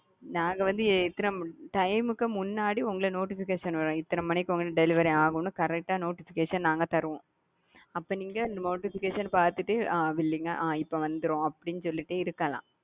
நாங்க வந்து எத்தன டைம்க்கு முன்னாடி உங்கள notification வரும் இத்தன மணிக்கு உங்களுக்கு delivery ஆகும் correct ஆ notification நாங்க தருவோம் அப்ப நீங்க notification பாத்துட்டு ஆ billing இப்ப வந்துரும் அப்படின்னு சொல்லிட்டே இருக்கலாம்.